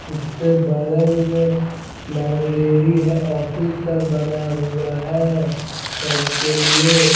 उसके बगल में लाइब्रेरी है ऑफिस सब बना हुआ है सब के लिए।